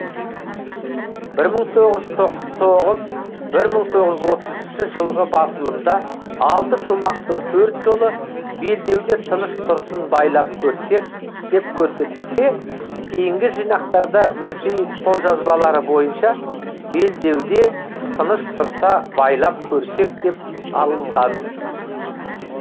бір мың тоғыз жүз тоғыз бір мың тоғыз жүз отыз үшінші жылғы басылымда алты шумақтың төрт жолы белдеуде тыныш тұрсын байлап көрсек деп көрсетілсе кейінгі жинақтарда мүрсейіт қолжазбалары бойынша белдеуде тыныш тұрса байлап көрсек деп алынған